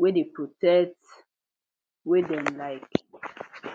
wey de um protect treatment wey dem like um